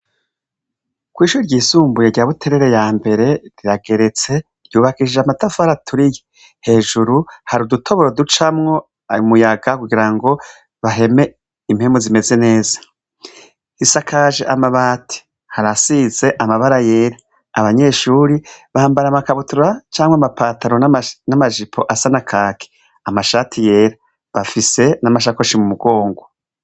Kw'ishure ryisumbuye rya Buterere yambere rirageretse, ry'ubakishije amatafari aturiye, hejuru hari udutoboro ducamwo umuyaga kugira ngo baheme impwemu zimeze neza, isakaje amabati, harasize amabara yera, abanyeshure bambara amakabutura canke amapataro n'amajipo asa na kaki, amashati yera, bafise na masakoshi m'umugongo.